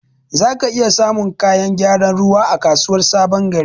Zaka iya samun kayan gyaran ruwa a kasuwar sabon gari.